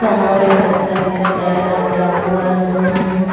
समोर एक रस्ता दिसत आहे रस्त्यावर मम--